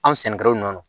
Anw sɛnɛkɛlaw nɔ